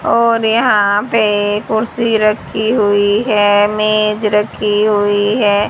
और यहां पे कुर्सी रखी हुई है मेज रखी हुई है।